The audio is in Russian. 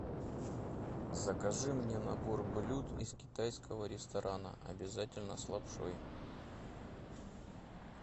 закажи мне набор блюд из китайского ресторана обязательно с лапшой